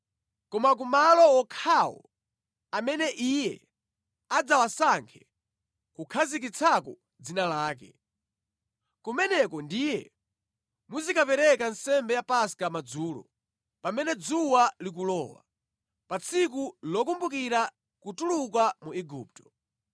koma ku malo wokhawo amene Iye adzawasankhe kukhazikitsako Dzina lake. Kumeneko ndiye muzikapereka nsembe ya Paska madzulo, pamene dzuwa likulowa, pa tsiku lokumbukira kutuluka mu Igupto.